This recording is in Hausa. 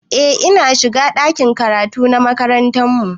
Eh ina shiga ɗakin karatu na makarantar mu